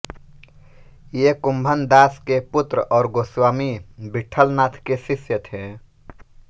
ये कुम्भनदास के पुत्र और गोस्वामी विट्ठलनाथ के शिष्य थे